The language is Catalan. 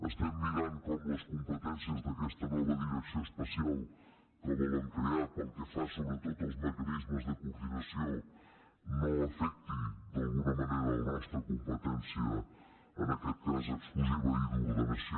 estem mirant com les competències d’aquesta nova direcció especial que volen crear pel que fa sobretot als mecanismes de coordinació no afecti la nostra competència en aquest cas exclusiva i d’ordenació